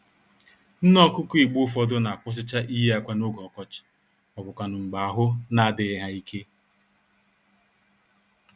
Nné-Ọkụkọ Igbo ụfọdụ n'akwụsịcha iyi ákwà n'oge ọkọchị, mọbụkwanụ̀ mgbè ahụ n'adịghị ha íke